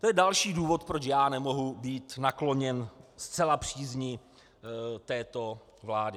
To je další důvod, proč já nemohu být nakloněn zcela přízni této vlády.